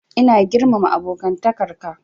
Ina girmama abokantakar ka.